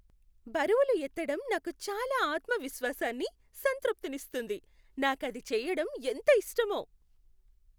బరువులు ఎత్తడం నాకు చాలా ఆత్మవిశ్వాసాన్ని, సంతృప్తినిస్తుంది. నాకది చేయడం ఎంత ఇష్టమో.